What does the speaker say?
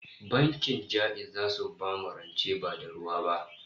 Bankin Ja'iz zasu bamu rance ba da ruwa ba